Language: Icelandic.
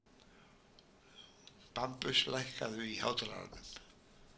Bambus, lækkaðu í hátalaranum.